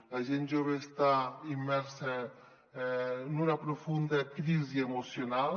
la gent jove està immersa en una profun·da crisi emocional